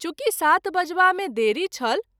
चुँकि सात बजबा मे देरी छल।